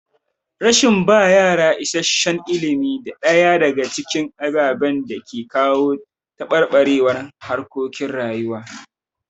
Rashin ba yara isasshen ilimi na ɗaya daga cikin ababen da ke kawo taɓarɓarewar harkokin rayuwa.